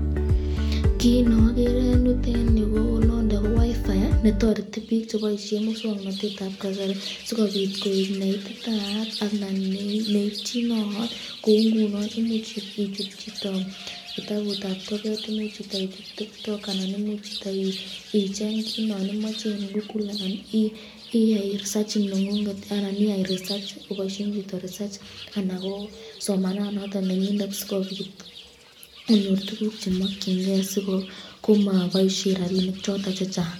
Kiit nokeree en yuton yuu ko WiFi netoreti biik cheboishen muswoknotetab kasari sikobiit koik nee ititaat anan neityinoot kouu ng'unon imuch ichut chito kitabutab toket, imuch chito ichut tiktok anan imuch chito icheng kiit non imoche en google anan iyai risach neng'ung'et anan iyai risach koboishen chito risach anan ko somana noton nenyinet sikobiit konyor tukuk chemokying'ee komoboishen rabishek choton chechang.